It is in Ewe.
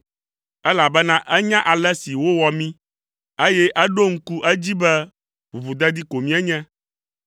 elabena enya ale si wowɔ mí, eye eɖo ŋku edzi be ʋuʋudedi ko míenye.